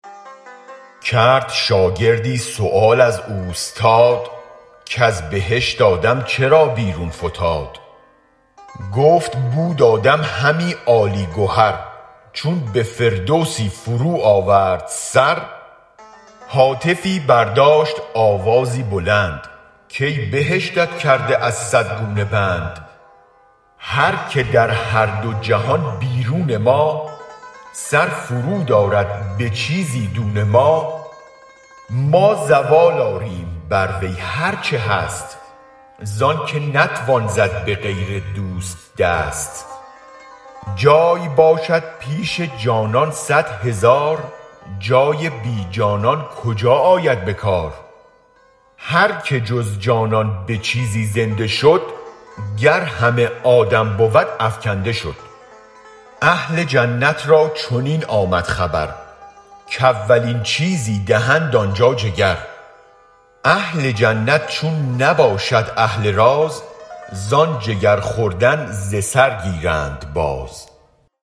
کرد شاگردی سؤال از اوستاد کز بهشت آدم چرا بیرون فتاد گفت بود آدم همی عالی گهر چون به فردوسی فرو آورد سر هاتفی برداشت آوازی بلند کای بهشتت کرده از صد گونه بند هرک در هر دو جهان بیرون ما سر فرو آرد به چیزی دون ما ما زوال آریم بر وی هرچه هست زآنک نتوان زد به غیر دوست دست جای باشد پیش جانان صد هزار جای بی جانان کجا آید به کار هرک جز جانان به چیزی زنده شد گر همه آدم بود افکنده شد اهل جنت را چنین آمد خبر کاولین چیزی دهند آن جا جگر اهل جنت چون نباشد اهل راز زآن جگر خوردن ز سر گیرند باز